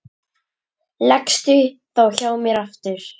Leggstu þá hjá mér aftur.